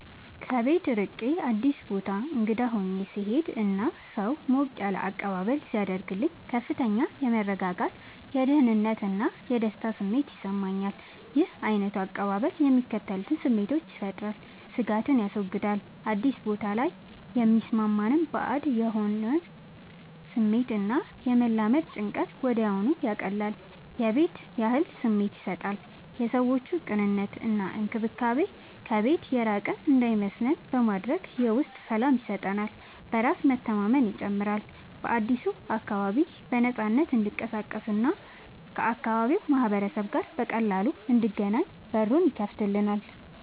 ከቤት ርቄ አዲስ ቦታ እንግዳ ሆኜ ስሄድ እና ሰው ሞቅ ያለ አቀባበል ሲያደርግልኝ ከፍተኛ የመረጋጋት፣ የደህንነት እና የደስታ ስሜት ይሰማኛል። ይህ ዓይነቱ አቀባበል የሚከተሉትን ስሜቶች ይፈጥራል፦ ስጋትን ያስወግዳል፦ አዲስ ቦታ ላይ የሚሰማንን ባዕድ የመሆን ስሜት እና የመላመድ ጭንቀትን ወዲያውኑ ያቀልላል። የቤት ያህል ስሜት ይሰጣል፦ የሰዎቹ ቅንነት እና እንክብካቤ ከቤት የራቅን እንዳይመስለን በማድረግ የውስጥ ሰላም ይሰጠናል። በራስ መተማመንን ይጨምራል፦ በአዲሱ አካባቢ በነፃነት እንድንቀሳቀስ እና ከአካባቢው ማህበረሰብ ጋር በቀላሉ እንድንገናኝ በሩን ይከፍትልናል።